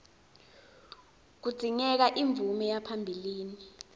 kudzingeka imvume yaphambilini